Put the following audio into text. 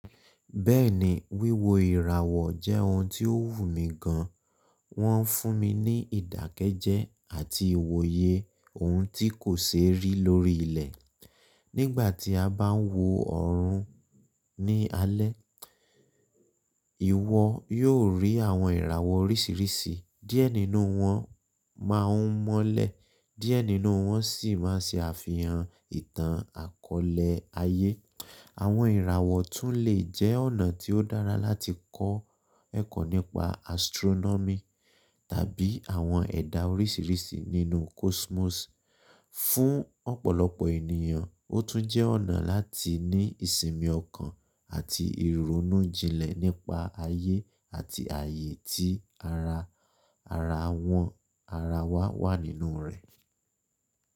Bẹ́ẹ̀ni, wíwo ìràwọ̀ jẹ́ ohun tí ó wù mí gan, wọ́n fún mi ní ìdákẹ́jẹ́ àti ìwòye ohun tí kò ṣeé rí lórí ilẹ̀. Nígbà tí a bá ń wo ọ̀run ní alẹ́, ìwọ yóò rí àwọn ìràwọ̀ oríṣìíríṣìí, díẹ̀ nínú wọn má a mọ́lẹ̀, díẹ̀ nínú wọn sì má a ṣe àfihàn ìtàn àkọọ́lẹ̀ ayé. Àwọn ìràwọ̀ tún lè jẹ́ ọ̀nà tí ó dára láti kọ́ ẹ̀kọ́ nípa astronomy tàbí àwọn ẹ̀dà oríṣìíríṣìí nínú cosmos. Fún ọ̀pọ̀lọpọ̀ ènìyàn, ó tún jẹ́ ọ̀nà láti ní ìsinmi ọkàn àti ìrònújinlẹ̀ nípa ayé àti ààyè tí ara ara wọn ara wa wà nínú rẹ̀.